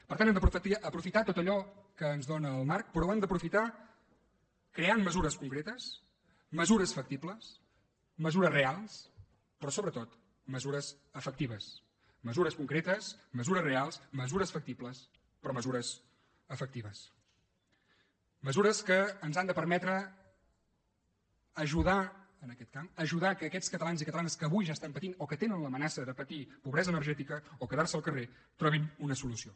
per tant hem d’aprofitar tot allò que ens dóna el marc però ho hem d’aprofitar creant mesures concretes mesures factibles mesures reals però sobretot mesures efectives mesures concretes mesures reals mesures factibles però mesures efectives mesures que ens han de permetre ajudar en aquest camp ajudar que aquests catalans i catalanes que avui ja estan patint o que tenen l’amenaça de patir pobresa energètica o quedar se al carrer trobin una solució